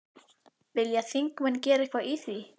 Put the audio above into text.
Vilja þingmenn gera eitthvað í því?